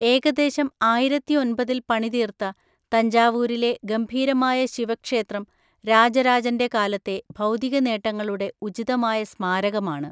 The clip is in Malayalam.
ഏകദേശം ആയിരത്തി ഒന്‍പതിൽ പണിതീർത്ത തഞ്ചാവൂരിലെ ഗംഭീരമായ ശിവക്ഷേത്രം രാജരാജന്‍റെ കാലത്തെ ഭൗതികനേട്ടങ്ങളുടെ ഉചിതമായ സ്മാരകമാണ്.